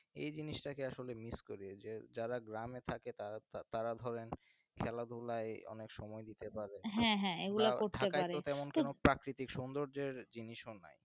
এই জিনিসটাকে আসলে miss করি যে যারা গ্রামে থাকে তারা তারা ধরেন খেলাধুলায় অনেক সময় দিতে পারে. ঢাকায় তো তেমন কোন প্রাকৃতিক সৌন্দর্যের জিনিসও নাই.